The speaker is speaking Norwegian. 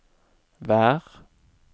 vær